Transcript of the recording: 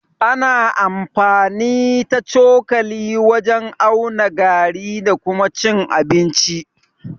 Ana amfani ta cokali wajen auna gari da kuma cin abinci.